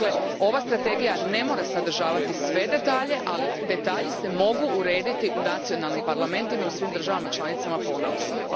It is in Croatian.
Dakle, ova strategija ne mora sadržavati sve detalje, ali detalji se mogu odrediti u nacionalnim parlamentima i u svim državama članicama ponaosob.